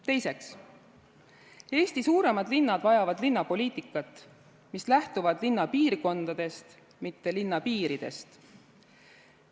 Teiseks, Eesti suuremad linnad vajavad linnapoliitikat, mis lähtub linna piirkondadest, mitte linna piiridest.